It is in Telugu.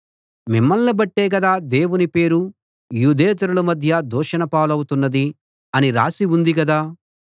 మిమ్మల్ని బట్టే గదా దేవుని పేరు యూదేతరుల మధ్య దూషణ పాలవుతున్నది అని రాసి ఉంది కదా